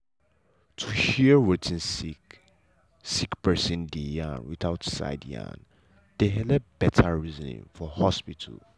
to hear wetin sick sick person dey yarn without side yarn dey helep better reasoning for hospital.